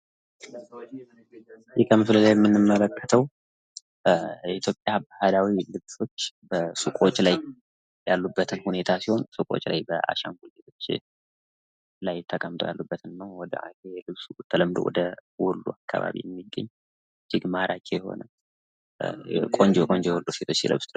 ከዚህ ከምስሉ ላይ የምንመለክተው በኢትዮጵያ ባህላዊ ልብሶች በሱቆች ላይ ያሉበትን ሁኔታ ሲሆን ሱቆች ላይ አሸንጉሊቶች ተቀምጠው ያሉበትን ሁኔታ ሲሆን በተለምዶ ወሎ አካባቢ የሚገኝ እጅግ ማራኪ የሆነ ቆንጆ ቆንጆ ሴቶች ሲለብሱት ነው።